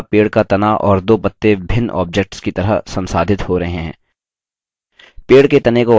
यहाँ पेड़ का तना और दो पत्ते भिन्न objects की तरह संसाधित हो रहे हैं